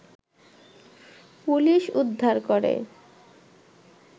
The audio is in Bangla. পুলিশ উদ্ধার করে